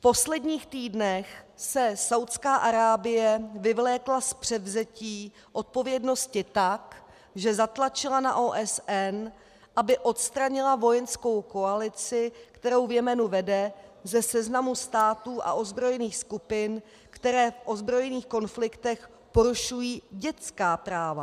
V posledních týdnech se Saúdská Arábie vyvlékla z převzetí odpovědnosti tak, že zatlačila na OSN, aby odstranila vojenskou koalici, kterou v Jemenu vede, ze seznamu států a ozbrojených skupin, které v ozbrojených konfliktech porušují dětská práva.